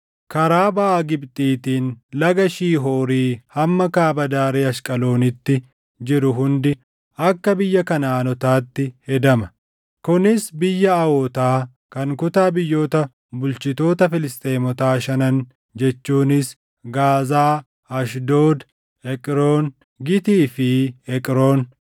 karaa baʼa Gibxiitiin laga Shihoorii hamma kaaba daarii Ashqaloonitti jiru hundi akka biyya Kanaʼaanotaatti hedama. Kunis biyya Awootaa kan kutaa biyyoota bulchitoota Filisxeemotaa shanan jechuunis Gaazaa, Ashdood, Eqroon, Gitii fi Eqroon;